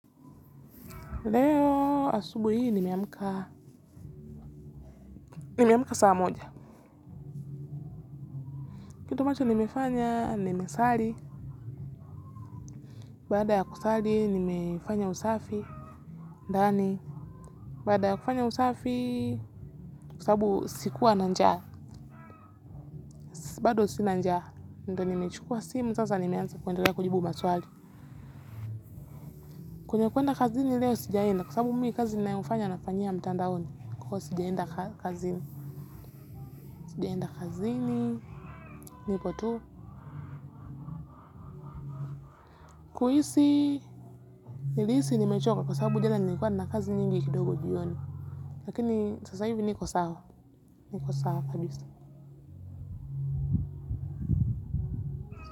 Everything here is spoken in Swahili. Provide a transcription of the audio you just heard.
Leo asubuhi hii nimeamka nimeamka saa moja kitu ambacho nimefanya nimesali baada ya kusali nimefanya usafi ndani baada ya kufanya usafi kwa sababu sikuwa na njaa bado sina njaa ndo nimechukua simu sasa nimeanza kuendelea kujibu maswali kwenye kuenda kazini leo sijaenda. Nilihisi nimechoka kwa sababu jana nilikuwa nina kazi nyingi sana kidogo jioni. Lakini sasa hivi niko sawa. Niko sawa kabisa.